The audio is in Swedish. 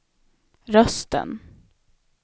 rösten